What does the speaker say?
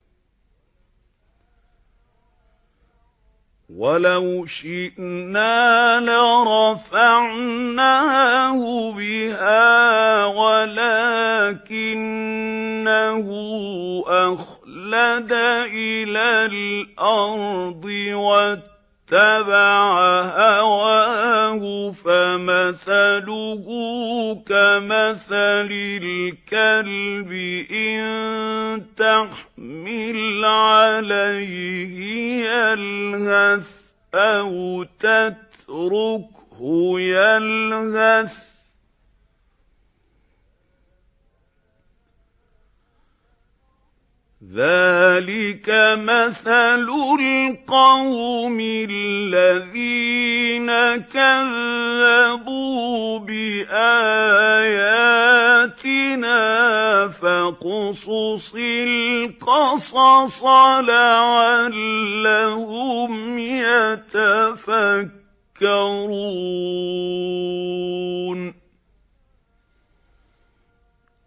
وَلَوْ شِئْنَا لَرَفَعْنَاهُ بِهَا وَلَٰكِنَّهُ أَخْلَدَ إِلَى الْأَرْضِ وَاتَّبَعَ هَوَاهُ ۚ فَمَثَلُهُ كَمَثَلِ الْكَلْبِ إِن تَحْمِلْ عَلَيْهِ يَلْهَثْ أَوْ تَتْرُكْهُ يَلْهَث ۚ ذَّٰلِكَ مَثَلُ الْقَوْمِ الَّذِينَ كَذَّبُوا بِآيَاتِنَا ۚ فَاقْصُصِ الْقَصَصَ لَعَلَّهُمْ يَتَفَكَّرُونَ